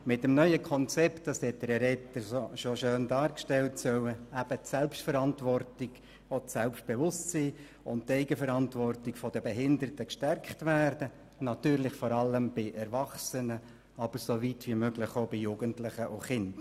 Mit dem neuen Konzept soll – wie es Herr Etter bereits schön dargestellt hat – die Selbstverantwortung und auch das Selbstbewusstsein sowie die Eigenverantwortung der behinderten Personen gestärkt werden, natürlich vor allem bei erwachsenen Personen, aber so weit wie möglich auch bei Jugendlichen und Kindern.